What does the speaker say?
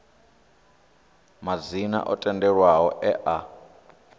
madzina o tendelwaho e a